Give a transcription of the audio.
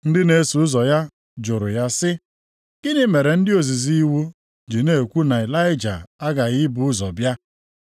Ndị na-eso ụzọ ya jụrụ ya sị, “Gịnị mere ndị ozizi iwu ji na-ekwu na Ịlaịja aghaghị ibu ụzọ bịa?”